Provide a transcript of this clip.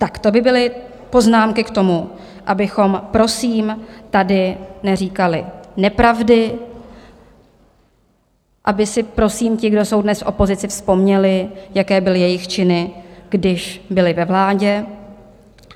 Tak to by byly poznámky k tomu, abychom prosím tady neříkali nepravdy, aby si prosím ti, kdo jsou dnes v opozici, vzpomněli, jaké byly jejich činy, když byli ve vládě.